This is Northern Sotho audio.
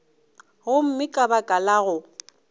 gomme ka baka la go